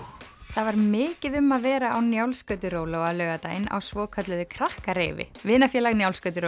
það var mikið um að vera á Njálsgöturóló á laugardaginn á svokölluðu vinafélag